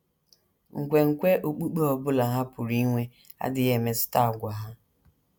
Nkwenkwe okpukpe ọ bụla ha pụrụ inwe adịghị emetụta àgwà ha.